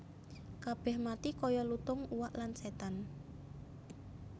Kabèh mati kaya lutung uwak lan sétan